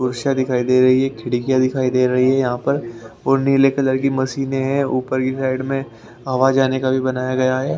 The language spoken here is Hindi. दिखाई दे रही है खिड़कियां दिखाई दे रही है इस पे लिखा हुआ है श्री श्याम ट्रेडर्स के नाम से ये दुकान है और उसके बराबर में कुछ और दुकान है जहाँ पर --